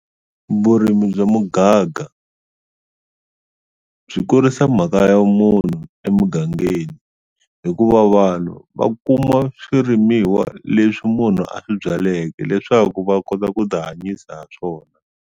Vurimi bya mugaga byi kurisa mhaka ya munhu emugangeni hikuva vanhu va kuma swirimiwa leswi munhu a swi byaleke leswaku va kota ku ti hanyisa ha swona.